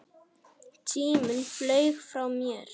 Tíminn flaug frá mér.